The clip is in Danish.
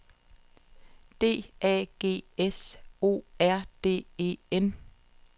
D A G S O R D E N